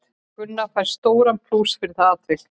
Gunnar fær stóran plús fyrir það atvik.